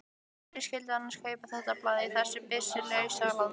Hverjir skyldu annars kaupa þetta blað í þessu byssulausa landi?